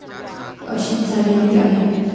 अशीच झालेली आहे.